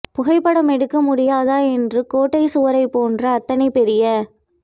புகைப்படமெடுக்க முடியாதா என்று கோட்டைச் சுவர் போன்ற அத்தனை பெரிய